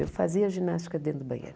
Eu fazia ginástica dentro do banheiro.